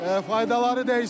Faydaları dəysin!